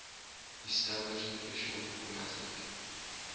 established official diplomatic